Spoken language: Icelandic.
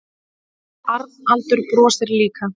Arnaldur brosir líka.